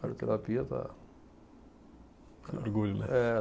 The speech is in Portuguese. Radioterapia tá. Orgulho, né? É